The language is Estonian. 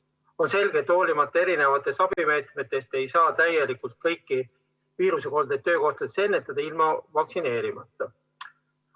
On selge, et hoolimata mitmesugustest abimeetmetest, ei saa täielikult kõiki viirusekoldeid töökohtades ennetada ilma vaktsineerimata.